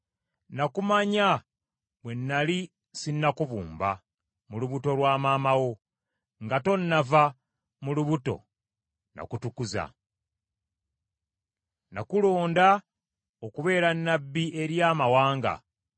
“Nakumanya bwe nnali sinnakubumba mu lubuto lwa maama wo; nga tonnava mu lubuto n’akutukuza. Nakulonda okubeera nnabbi eri amawanga.”